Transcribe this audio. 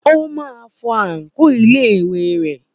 Ó máa fọ àǹkóò iléèwé rẹ̀.